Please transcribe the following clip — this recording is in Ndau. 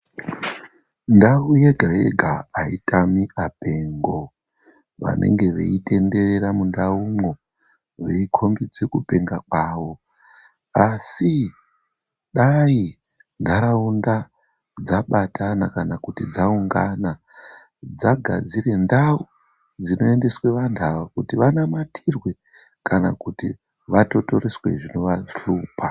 Ndau yega yega haitami apengo vanenge veitenderera mundaumwo veikombidze kupenga kwavo asi dai ndaraunda dzabatana kana kuti dzaungana dzagadzire ndau dzinoendeswa antu ava kuti vanamatirwe kana kuti vatuturiswe zvinovashupa.